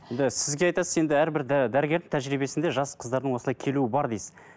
енді сізге айтасыз енді әрбір дәрігердің тәжірибесінде жас қыздардың осылай келуі бар дейсіз